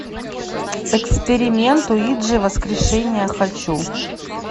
эксперимент уиджи воскрешение хочу